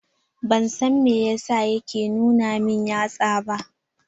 Ban san meyasa yake nuna min yatsa ba.